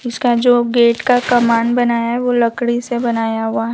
इसका जो गेट का कमान बनाया वो लकड़ी से बनाया हुआ है।